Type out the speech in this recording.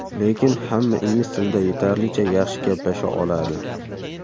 Lekin hamma ingliz tilida yetarlicha yaxshi gaplasha oladi.